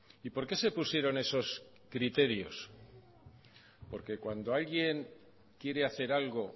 y por qué se pusieron esos criterios porque cuando alguien quiere hacer algo